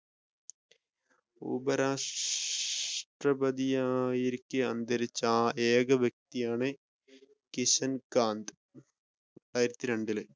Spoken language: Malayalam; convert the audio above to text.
ഉപരാഷ്ട്ര~ഉപരാഷ്ട്രപതിയായിരിക്കെ അന്തരിച്ച ഏക വ്യക്തിയാണ് കിഷൻ കാന്ത്, രണ്ടായിരത്തി രണ്ടിൽ